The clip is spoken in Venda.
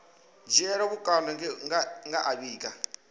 dzhielwa vhukando nge a vhiga